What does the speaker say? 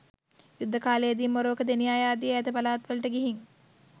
යුද්ධ කාලයේ දී මොරවක, දෙනියාය ආදී ඈත පළාත්වලට ගිහින්